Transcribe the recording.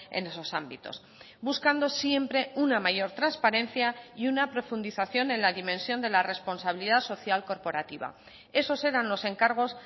en esos ámbitos buscando siempre una mayor transparencia y una profundización en la dimensión de la responsabilidad social corporativa esos eran los encargos